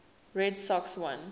red sox won